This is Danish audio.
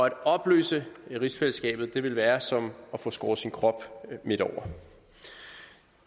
at opløse rigsfællesskabet ville være som at få skåret sin krop midt over